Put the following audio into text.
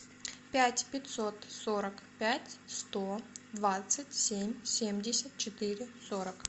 пять пятьсот сорок пять сто двадцать семь семьдесят четыре сорок